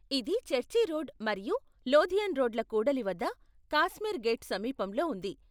ఇది church road మరియు Lothian రోడ్ల కూడలి వద్ద కాశ్మీర్ గేట్ సమీపంలో ఉంది.